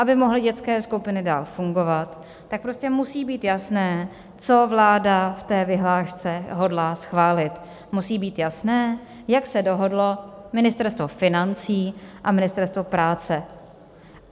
Aby mohly dětské skupiny dál fungovat, tak prostě musí být jasné, co vláda v té vyhlášce hodlá schválit, musí být jasné, jak se dohodlo Ministerstvo financí a Ministerstvo práce.